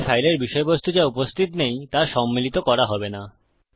তাই ফাইলের বিষয়বস্তু যা উপস্থিত নেই তা সম্মিলিত করা হবে না